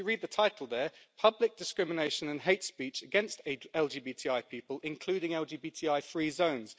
If you read the title there public discrimination and hate speech against LGBTI people, including LGBTI free zones'.